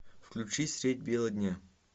включи средь бела дня